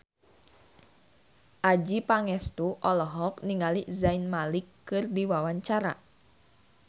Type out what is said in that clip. Adjie Pangestu olohok ningali Zayn Malik keur diwawancara